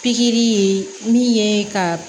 Pikiri ye min ye ka